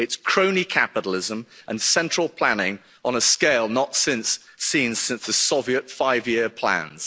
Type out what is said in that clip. It's crony capitalism and central planning on a scale not since seen since the Soviet five year plans.